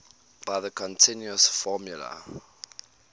by the continuous formula